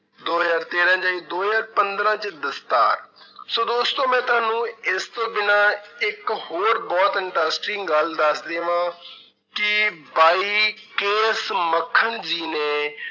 ਦੋ ਹਜ਼ਾਰ ਤੇਰਾਂ 'ਚ ਆਈ ਦੋ ਹਜ਼ਾਰ ਪੰਦਰਾਂ 'ਚ ਦਸਤਾਰ ਸੋ ਦੋਸਤੋ ਮੈਂ ਤੁਹਾਨੂੰ ਇਸ ਤੋਂ ਬਿਨਾਂ ਇੱਕ ਹੋਰ ਬਹੁਤ interesting ਗੱਲ ਦੱਸ ਦੇਵਾਂ ਕਿ ਬਾਈ ਮੱਖਣ ਜੀ ਨੇ